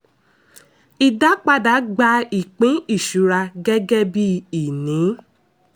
ìdápadà gba ìpín ìṣura gẹ́gẹ́ bí ìní.